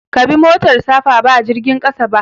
Ka bi motar safa ba jirgin ƙasa ba.